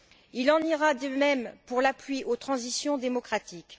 Il en ira de même pour l'appui aux transitions démocratiques.